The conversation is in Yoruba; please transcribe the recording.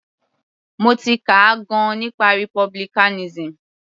Mo ti kà gan - an nípa republicanism.